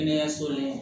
Kɛnɛyaso la